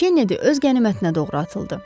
Kennedy öz qənimətinə doğru atıldı.